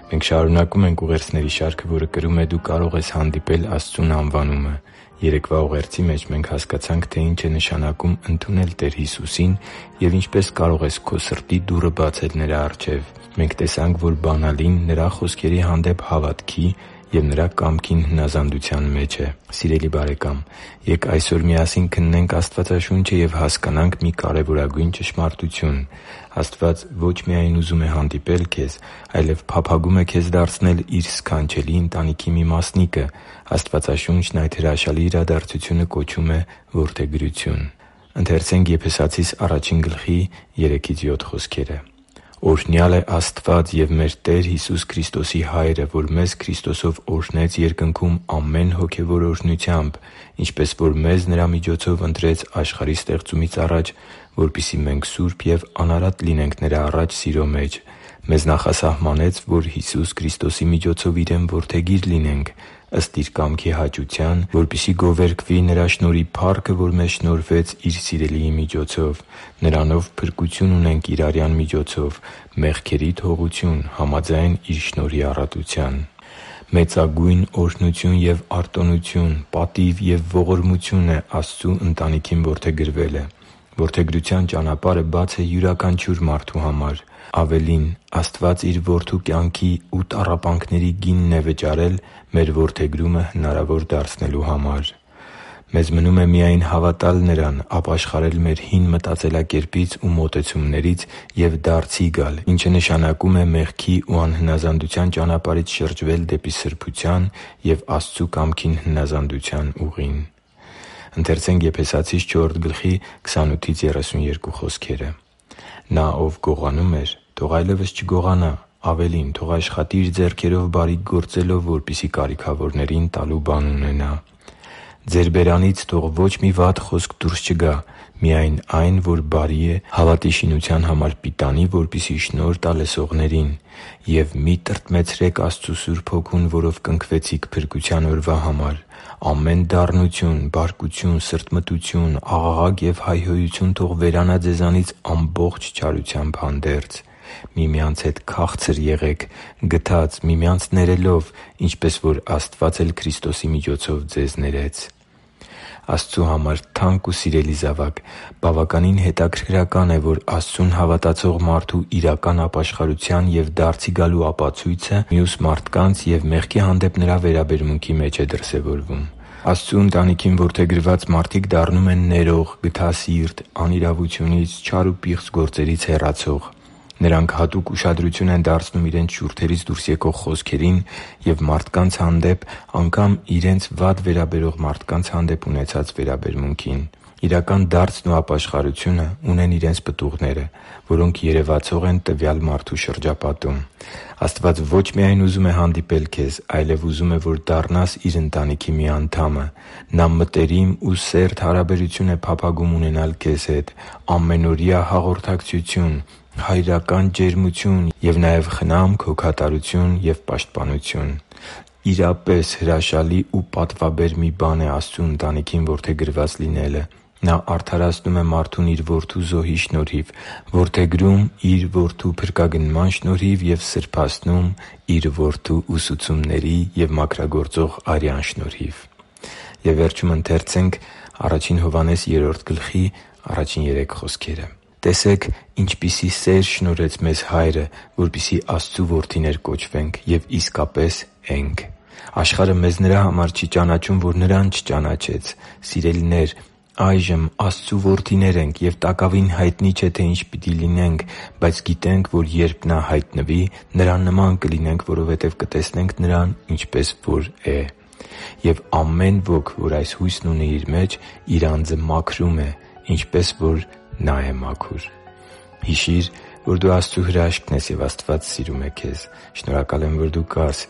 Մենք շարունակում ենք ուղերձների շարքը, որը կրում է «Դու կարո՛ղ ես հանդիպել Աստծուն» անվանումը։ Երեկվա ուղերձի մեջ մենք հասկացանք, թե ինչ է նշանակում ընդունել Տեր Հիսուսին և ինչպե՞ս կարող ես քո սրտի դուռը բացել Նրա առջև։ Մենք տեսանք, որ բանալին Նրա խոսքերի հանդեպ հավատքի և Նրա կամքին հնազանդության մեջ է։ Սիրելի՛ բարեկամ, ե՛կ այսօր միասին քննենք Աստվածաշունչը և հասկանանք մի կարևորագույն ճշմարտություն՝ Աստված ո՛չ միայն ուզում է հանդիպել քեզ, այլև փափագում է քեզ դարձնել Իր սքանչելի ընտանիքի մի մասնիկը։ Աստվածաշունչն այդ հրաշալի իրադարձությունը կոչում է որդեգրություն։ «Օրհնյալ է Աստված և մեր Տեր Հիսուս Քրիստոսի Հայրը, որ մեզ Քրիստոսով օրհնեց երկնքում ամեն հոգևոր օրհնությամբ, ինչպես որ մեզ Նրա միջոցով ընտրեց աշխարհի ստեղծումից առաջ, որպեսզի մենք սուրբ և անարատ լինենք Նրա առաջ սիրո մեջ։ Մեզ նախասահմանեց, որ Հիսուս Քրիստոսի միջոցով Իրեն որդեգիր լինենք՝ ըստ Իր կամքի հաճության, որպեսզի գովերգվի Նրա շնորհի փառքը, որ մեզ շնորհվեց Իր Սիրելիի միջոցով։ Նրանով փրկություն ունենք Իր արյան միջոցով, մեղքերի թողություն՝ համաձայն Իր շնորհի առատության» (Եփեսացիս 1․3-7): Մեծագույն օրհնություն և արտոնություն, պատիվ և ողորմություն է Աստծու ընտանիքին որդեգրվելը։ Որդեգրության ճանապարհը բաց է յուրաքանչյուր մարդու համար։ Ավելին՝ Աստված Իր Որդու կյանքի ու տառապանքների գինն է վճարել մեր որդեգրումը հնարավոր դարձնելու համար։ Մեզ մնում է միայն հավատալ Նրան, ապաշխարել մեր հին մտածելակերպից ու մոտեցումներից և դարձի գալ, ինչը նշանակում է մեղքի ու անհնազանդության ճանապարհից շրջվել դեպի սրբության և Աստծու կամքին հնազանդության ուղին։ «Նա, ով գողանում էր, թող այլևս չգողանա, ավելին՝ թող աշխատի՝ իր ձեռքերով բարիք գործելով, որպեսզի կարիքավորին տալու բան ունենա։ Ձեր բերանից թող ոչ մի վատ խոսք դուրս չգա, միայն այն, որ բարի է, հավատի շինության համար պիտանի, որպեսզի շնորհ տա լսողներին։ Եվ մի՛ տրտմեցրեք Աստծու Սուրբ Հոգուն, որով կնքվեցիք փրկության օրվա համար։ Ամեն դառնություն, բարկություն, սրտմտություն, աղաղակ և հայհոյություն թող վերանա ձեզանից ամբողջ չարությամբ հանդերձ։ Միմյանց հետ քա՛ղցր եղեք, գթած՝ միմյանց ներելով, ինչպես որ Աստված էլ Քրիստոսի միջոցով ձեզ ներեց» (Եփեսացիս 4․28-32): Աստծու համար թանկ ու սիրելի՛ զավակ, բավականին հետաքրքրական է, որ Աստծուն հավատացող մարդու իրական ապաշխարության և դարձի գալու ապացույցը մյուս մարդկանց և մեղքի հանդեպ նրա վերաբերմունքի մեջ է դրսևորվում։ Աստծու ընտանիքին որդեգրված մարդիկ դառնում են ներող, գթասիրտ, անիրավությունից, չար ու պիղծ գործերից հեռացող։ Նրանք հատուկ ուշադրություն են դարձնում իրենց շուրթերից դուրս եկող խոսքերին և մարդկանց հանդեպ, անգամ՝ իրենց վատ վերաբերվող մարդկանց հանդեպ ունեցած վերաբերմունքին։ Իրական դարձը և ապաշխարությունն ունի իր պտուղները, որոնք երևացող են տվյալ մարդու շրջապատում։ Աստված ոչ միայն ուզում է հանդիպել քեզ, այլև ուզում է, որ դառնաս Իր ընտանիքի մի անդամը։ Նա մտերիմ ու սերտ հարաբերություն է փափագում ունենալ քեզ հետ՝ ամենօրյա հաղորդակցություն, հայրական ջերմություն և նաև խնամք, հոգատարություն և պաշտպանություն։ Իրապես, հրաշալի ու պատվաբեր մի բան է Աստծու ընտանիքին որդեգրված լինելը։ Նա արդարացնում է մարդուն Իր Որդու զոհի շնորհիվ, որդեգրում՝ Որդու փրկագնման շնորհիվ և սրբացնում՝ Որդու ուսուցումների և մաքրագործող արյան շնորհիվ։ «Տեսեք՝ ինչպիսի՜ սեր շնորհեց մեզ Հայրը, որպեսզի Աստծու որդիներ կոչվենք և իսկապես ենք. աշխարհը մեզ նրա համար չի ճանաչում, որ Նրան չճանաչեց։ Սիրելինե՛ր, այժմ Աստծու որդիներ ենք, և տակավին հայտնի չէ, թե ի՛նչ պիտի լինենք, բայց գիտենք, որ երբ Նա հայտնվի, Նրա նման կլինենք, որովհետև կտեսնենք Նրան, ինչպես որ է։ Եվ ամեն ոք, ով այս հույսն իր մեջ ունի, իր անձը մաքրում է, ինչպես որ Նա է մաքուր» (Ա Հովհաննես 3․1-3): Հիշի՛ր, որ դու Աստծո հրաշքն ես, և Աստված սիրում է քեզ։ Շնորհակալ եմ, որ դու կա՛ս